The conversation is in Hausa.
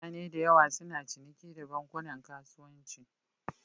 Mutane da yawa suna ciniki da bankunan kasuwanci.